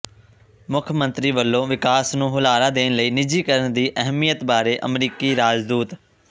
ਮੁੱਖ ਮੰਤਰੀ ਵੱਲੋਂ ਵਿਕਾਸ ਨੂੰ ਹੁਲਾਰਾ ਦੇਣ ਲਈ ਨਿੱਜੀਕਰਨ ਦੀ ਅਹਿਮੀਅਤ ਬਾਰੇ ਅਮਰੀਕੀ ਰਾਜਦੂਤ